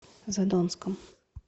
задонском